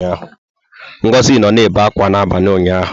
Ngozi nọ na-ebe akwa abalị ụnyaahụ.